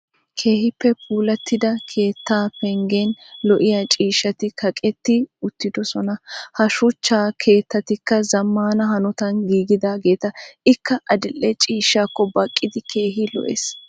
Keehippe puulattida keettaa penggen lo'iya ciishshati kaqetti uttiddosona. Ha shuchcha keettatikka zamaana hanottan giigidaageeta. Ikka adil'e ciishshaakko baqqidi keehi lo''ees.